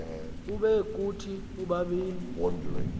ube kuthi ubabini